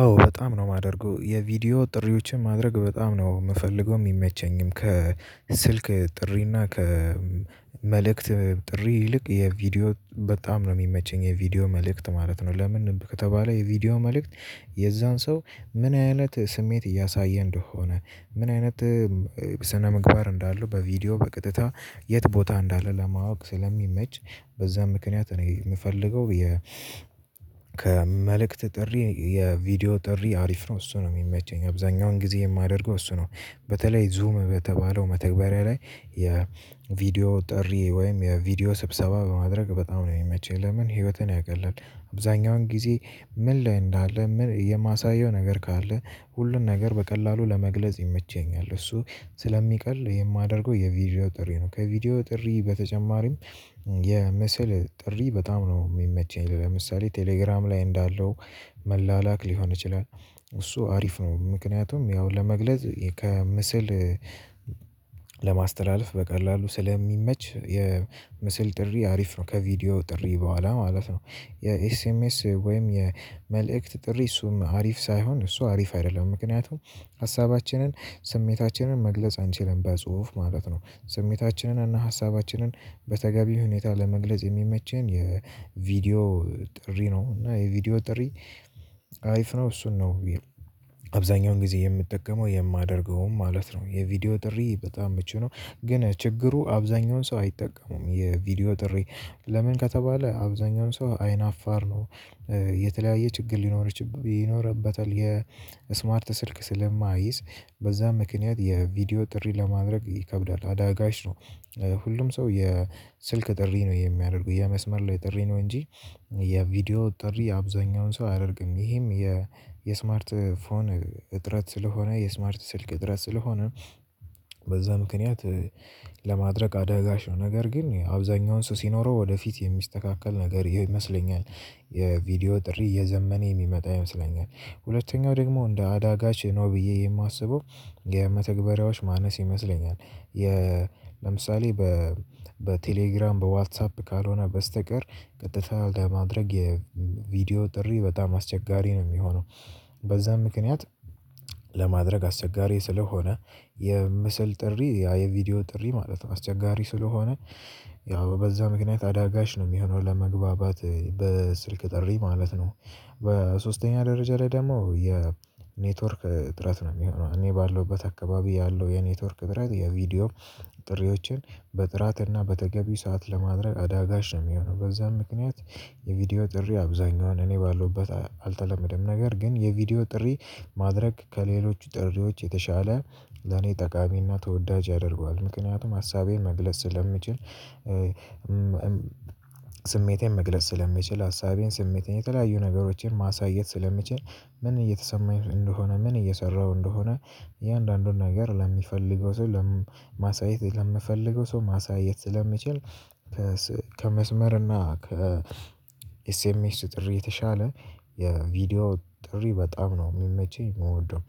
አዎ በጣም ነው የማደርገው የቪዲዮ ጥሪዎችን ማድረግ በጣም ነው ምፈልገው ሚመቸኝም ከስልክ ጥሪ እና ከመልእክት ጥሪ ይልቅ የቪዲዮ በጣም ነው ሚመቸኝ የቪዲዮ መልእክት ማለት ነው። ለምን ከተባለ የቪዲዮ መልእክት የዛን ሰው ምን አይነት ስሜት እያሳየ እንደሆነ ምን አይነት ስነ ምግባር እንዳለው በቪዲዮ በቀጥታ የት ቦታ እንዳለ ለማወቅ ስለሚመች በዛ ምክንያት እኔ ምፈልገው። ከመልእክት ጥሪ የቪዲዮ ጥሪ አሪፍ ነው እሱ ነው ሚመቸኝ አብዛኛውን ጊዜ የማደርገው እሱ ነው። በተለይ ዙም በተባለው መተግበሪያ ላይ የቪዲዮ ጥሪ ወይም የቪዲዮ ስብሰባ በማድረግ በጣም ነው ሚመቸኝ። ለምን ህይወትን ያቀላል አብዛኛውን ጊዜ ምን ላይ እንዳለ የማሳየው ነገር ካለ ሁሉን ነገር በቀላሉ ለመግለጽ ይመቸኛል እሱ ስለሚቀል የማደርገው የቪዲዮ ጥሪ ነው። ከቪዲዮ ጥሪ በተጨማሪም የምስል ጥሪ በጣም ነው ሚመቸኝ። ለምሳሌ ቴሌግራም ላይ እንዳለው መላላክ ሊሆን ይችላል። እሱ አሪፍ ነው ምክንያቱም ያው ለመግለጽ ከምስል ለማስተላለፍ በቀላሉ ስለሚመች የምስል ጥሪ አሪፍ ነው። ከቪዲዮ ጥሪ በኋላ ማለት ነው። የኤስኤምኤስ ወይም የመልእክት ጥሪ እሱም አሪፍ ሳይሆን እሱ አሪፍ አይደለም ምክንያቱም ሀሳባችንን ስሜታችንን መግለጽ አንችልም በጽሁፍ ማለት ነው። ስሜታችንን እና ሀሳባችንን በተገቢው ሁኔታ ለመግለጽ የሚመቸን የቪዲዮ ጥሪ ነው። እና የቪዲዮ ጥሪ አሪፍ ነው እሱን ነው። አብዛኛውን ጊዜ የምጠቀመው የማደርገውም ማለት ነው የቪዲዮ ጥሪ በጣም ምቹ ነው። ግን ችግሩ አብዛኛውን ሰው አይጠቀሙም የቪዲዮ ጥሪ ለምን ከተባለ አብዛኛውን ሰው አይን አፋር ነው። የተለያየ ችግር ሊኖርችበ ይኖርበታል የስማርት ስልክ ስለማይዝ በዛም ምክንያት የቪዲዮ ጥሪ ለማድረግ ይከብዳል አዳጋች ነው። ሁሉም ሰው የስልክ ጥሪ ነው የሚያደርጉት የመስመር ላይ ጥሪ ነው እንጂ የቪዲዮ ጥሪ አብዛኛውን ሰው አያደርግም። ይህም የስማርት ፎን እጥረት ስለሆነ የስማርት ስልክ እጥረት ስለሆነ በዛ ምክንያት። ለማድረግ አደጋች ነው ነገር ግን አብዛኛውን ሰው ሲኖረው ወደፊት የሚስተካከል ነገር ይመስለኛል። የቪዲዮ ጥሪ እየዘመነ የሚመጣ ይመስለኛል። ሁለተኛው ደግሞ እንደ አዳጋች ነው ብዬ የማስበው የመተግበሪያዎች ማነስ ይመስለኛል። ለምሳሌ በቴሌግራም በዋትሳፕ ካልሆነ በስተቀር ቀጥታ ለማድረግ የቪዲዮ ጥሪ በጣም አስቸጋሪ ነው ሚሆነው። በዛም ምክንያት ለማድረግ አስቸጋሪ ስለሆነ የምስል ጥሪ የቪዲዮ ጥሪ ማለት ነው አስቸጋሪ ስለሆነ። ያው በዛ ምክንያት አዳጋች ነው ሚሆነው ለመግባባት በስልክ ጥሪ ማለት ነው። በሶስተኛ ደረጃ ላይ ደግሞ የኔትወርክ ጥረት ነው የሚሆነው። እኔ ባለውበት አካባቢ ያለው የኔትወርክ ጥረት የቪዲዮ ጥሪዎችን በጥራት እና በተገቢ ሰዓት ለማድረግ አዳጋች ነው ሚሆነው በዛም ምክንያት። የቪዲዮ ጥሪ አብዛኛዋን እኔ ባለውበት አልተለመደም ነገር ግን የቪዲዮ ጥሪ ማድረግ ከሌሎች ጥሪዎች የተሻለ ለኔ ጠቃሚና ተወዳጅ ያደርገዋል ምክንያቱም ሀሳቤን መግለጽ ስለምችል። ስሜቴን መግለጽ ስለምችል ሀሳቤን ስሜቴን የተለያዩ ነገሮችን ማሳየት ስለምችል ምን እየተሰማኝ እንደሆነ ምን እየሰራሁ እንደሆነ እያንዳንዱን ነገር ለሚፈልገው ለማሳየት ለምፈልገው ሰው ማሳየት ስለምችል። እና ከኤስኤምኤስ ጥሪ የተሻለ የቪዲዮ ጥሪ በጣም ነው ሚመቸኝ ምወደው።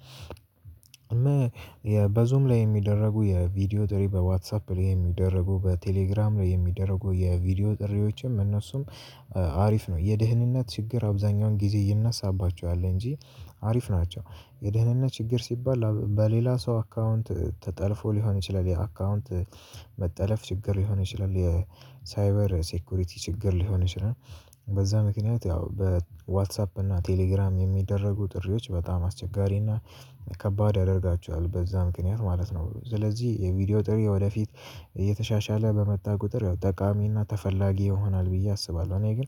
በዙም ላይ የሚደረጉ የቪዲዮ ጥሪ በዋትሳፕ ላይ የሚደረጉ በቴሌግራም ላይ የሚደረጉ የቪዲዮ ጥሪዎችም እነሱም አሪፍ ነው የደህንነት ችግር አብዛኛውን ጊዜ ይነሳባቸዋል እንጂ አሪፍ ናቸው። የደህንነት ችግር ሲባል በሌላ ሰው አካውንት ተጠልፎ ሊሆን ይችላል የአካውንት መጠለፍ ችግር ሊሆን ይችላል የሳይበር ሴኩሪቲ ችግር ሊሆን ይችላል። በዛ ምክንያት ያው በዋትሳፕ እና ቴሌግራም የሚደረጉ ጥሪዎች በጣም አስቸጋሪና ከባድ ያደርጋቸዋል በዛ ምክንያት ማለት ነው። ስለዚህ የቪዲዮ ጥሪ ወደፊት እየተሻሻለ በመጣ ቁጥር ያው ጠቃሚ እና ተፈላጊ ይሆናል ብዬ አስባለሁ። እኔ ግን።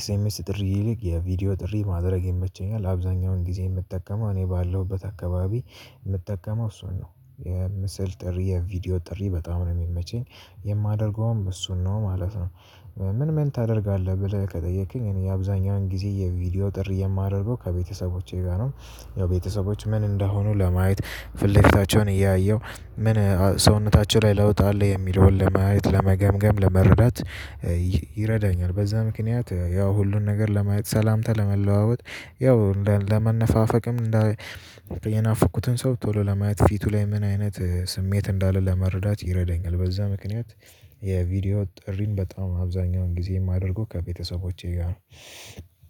ኤስኤምኤስ ጥሪ ይልቅ የቪዲዮ ጥሪ ማድረግ ይመቸኛል አብዛኛውን ጊዜ የምጠቀመው እኔ ባለሁበት አካባቢ ምጠቀመው እሱን ነው የምስል ጥሪ የቪዲዮ ጥሪ በጣም ነው የሚመቸኝ የማደርገውም እሱን ነው ማለት ነው። ምን ምን ታደርጋለህ ብለህ ከጠየቅክኝ እኔ አብዛኛውን ጊዜ የቪዲዮ ጥሪ የማደርገው ከቤተሰቦቼ ጋር ነው። የቤተሰቦች ምን እንደሆኑ ለማየት ፊትለፊታቸውን እያየሁ ምን ሰውነታቸው ላይ ለውጥ አለ የሚለውን ለማየት ለመገምገም ለመረዳት ይረዳኛል። በዛ ምክንያት ያው ሁሉን ነገር ለማየት ሰላምታ ለመለዋወጥ ያው ለመነፋፈቅም እንደ ሰው ቶሎ ለማየት ፊቱ ላይ ምን አይነት ስሜት እንዳለ ለመረዳት ይረዳኛል በዛ ምክንያት። የቪዲዮ ጥሪን በጣም አብዛኛውን ጊዜ የማደርገው ከቤተሰቦቼ ጋር።